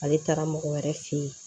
Ale taara mɔgɔ wɛrɛ fe yen